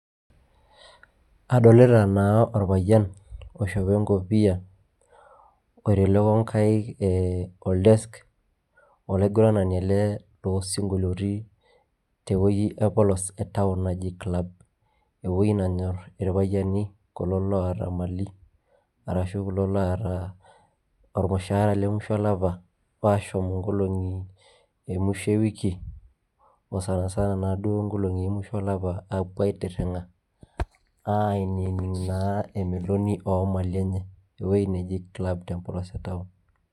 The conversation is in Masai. adolita naa orpayian oishopo enkopiyia, oitelekio nkaik ol desk olaiguranani ele loo sinkoloitin te wueji empolos e town naji klabu. ewuei nenyor irpayiani ,arashu klo loota ormusharaa le musho olapa, aashom inkolongi emusho ewiki, o sansana naaduo nkolongi emusho olapa, apuo aitiringa ainining naa emeloni oo mpisai enye. ewuei neji club te town.